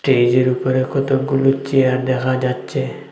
স্টেজের উপরে কতকগুলো চেয়ার দেখা যাচ্চে ।